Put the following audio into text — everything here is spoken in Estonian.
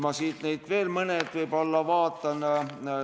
Vaatan veel mõnda kirja.